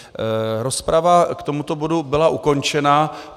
Rozprava k tomuto bodu byla ukončena.